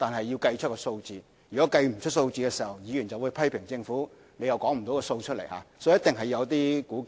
要計算出數字很重要，如果沒有數字，議員就會批評政府拿不出數字來，所以一定要作一些估計。